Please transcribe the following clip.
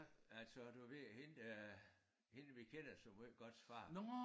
Altså du ved hende der hende vi kender så måj godts far